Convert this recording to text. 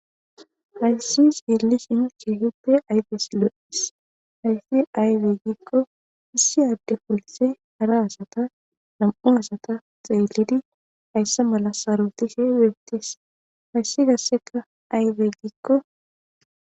hayssi sellisinu kehuppe ayfesi lo7is hayssi aywe gikko issi adde polse hara asata nam7u asata xeelidi haysse mala sarotishe wettees hayssi gasseka aywe gikko